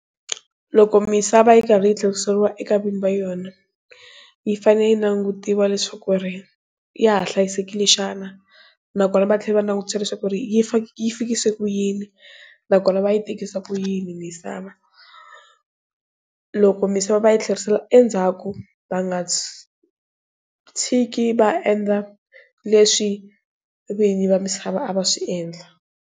Loko misava yi karhi yi tlheriseriwa eka vinyi va yona yi fanele yi langutiwa leswaku ri ya ha hlayisekile xana nakona va tlhela va langutela leswaku ri yi fikisa ku yini nakona va yi tekisa ku yini misava. Loko misava va yi tlherisela endzhaku va nga tshiki va endla leswi vinyi va misava a va swi endla.